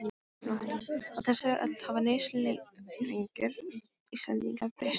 Á þessari öld hafa neysluvenjur Íslendinga breyst mjög.